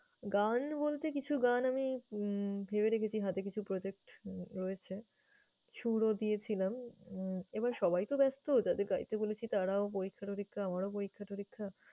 গান বলতে কিছু গান আমি উম ভেবে রেখেছি হাতে কিছু project রয়েছে, সুরও দিয়েছিলাম। উম এবার সবাই তো ব্যস্ত, যাদের গাইতে বলেছি তারাও পরীক্ষা-টরিক্ষা, আমারও পরীক্ষা-টরিক্ষা।